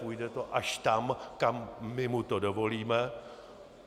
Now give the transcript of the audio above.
Půjde to až tam, kam my mu to dovolíme.